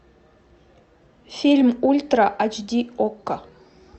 фильм ультра айч ди окко